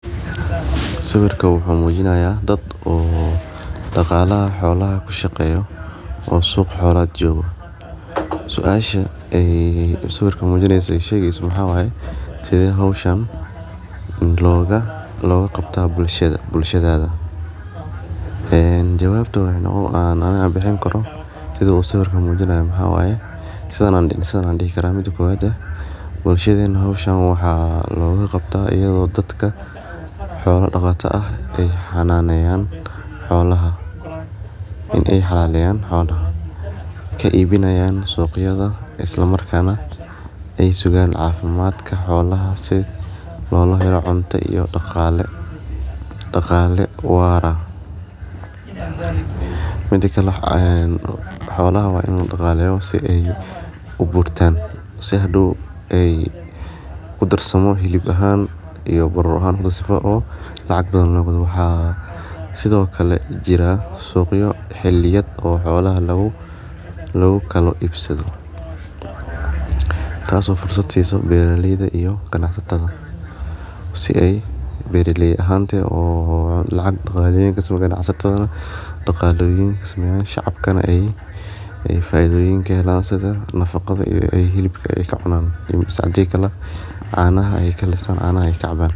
Sawirka wuxuu mujinayaa dad oo daqalaha xolaha kishaqeyo oo suqa xolaha jogo suasha sawirka mujimeyso waxaa waye sithe hoshan loga qabtaa bulshadada jawabta aa aniga bixini karo maxaa waye sithan ayan dihi karaa mida kowad bulshadena waxaa loga qabtaa iyada oo dadka xolaha daqatada ee xananeyan xolaha kaibinayan suqyada isla markas nah ee sugan cafimaadka cunto iyo daqale wara mida kale xolaha waa in ladaqaleya si hadow ee udarsamo hilib ahan iyo barur ahan sithokale waxa jira xiliyad oo suqa lagu ibsado tas oo fursad siso beera leyda iyo ganacsatadha si ee beera leyda daqaloyin si ee shaqabkana ee faidhyin ka helan sithaa nafaqada iyo hilibka ee ka cunana mase hadi kale ee cana kalisan ee cana ka caban.